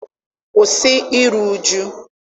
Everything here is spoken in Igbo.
Kwụsị iru uju.